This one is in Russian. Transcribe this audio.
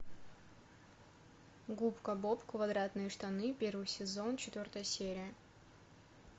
губка боб квадратные штаны первый сезон четвертая серия